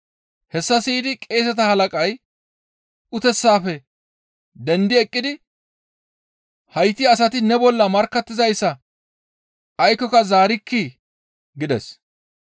Hessa siyida qeeseta halaqay uteththafe dendi eqqidi, «Hayti asati ne bolla markkattizayssas aykkoka zaarikkii?» gides.